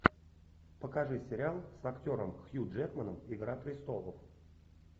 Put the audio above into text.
покажи сериал с актером хью джекманом игра престолов